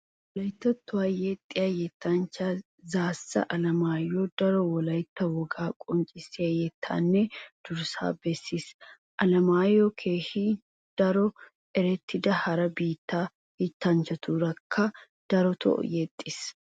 Wolayttattuwa yexxiya yettanchchaa Zaasa Alemaayoy daro wolayitta wogaa qonccissiya yettatanne durssata bessis. Alemaayoy keehi daro erettida hara biittaa yettanchchatuurakka darotoo yexxiis.